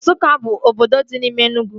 Nsukka bụ obodo dị n'ime Enugwu